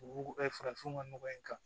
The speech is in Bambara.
U farafinw ka nɔgɔ in kan